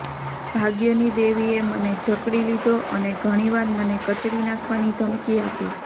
ભાગ્યની દેવીએ મને જકડી લીધો અને ઘણી વાર મને કચડી નાખવાની ધમકી આપી